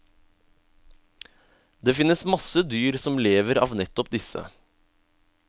Det finnes masse dyr som lever av nettopp disse.